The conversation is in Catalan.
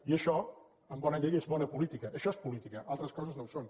i això amb bona llei és bona política això és política altres coses no ho són